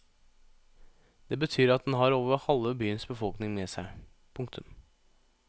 Det betyr at den har over halve byens befolkning med seg. punktum